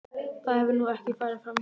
Það hefur nú ekki farið framhjá manni.